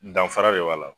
Danfara de b'a la